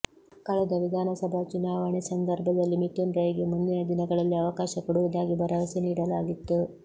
ಕಳೆದ ವಿಧಾನಸಭಾ ಚುನಾವಣೆ ಸಂದರ್ಭದಲ್ಲಿ ಮಿಥುನ್ ರೈ ಗೆ ಮುಂದಿನ ದಿನಗಳಲ್ಲಿ ಅವಕಾಶ ಕೊಡುವುದಾಗಿ ಭರವಸೆ ನೀಡಲಾಗಿತ್ತು